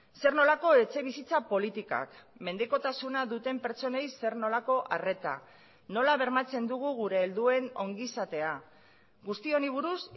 zer nolako etxebizitza politikak mendekotasuna duten pertsonei zer nolako arreta nola bermatzen dugu gure helduen ongizatea guzti honi buruz